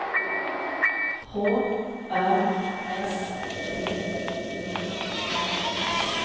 H Ö S T E N S